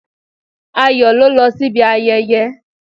Ayọ̀ ló lọ sí ibi ayẹyẹ